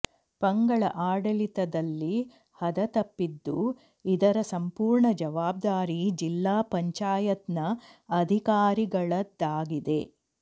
ಪಂಗಳ ಆಡಳಿತದಲ್ಲಿ ಹದತಪ್ಪಿದ್ದು ಇದರ ಸಂಪೂರ್ಣ ಜವಾಬ್ದಾರಿ ಜಿಲ್ಲಾ ಪಂಚಾಯತ್ನ ಅಧಿಕಾರಿಗಳದ್ದಾಗಿದೆ